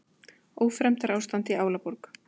Ófremdarástand í Álaborg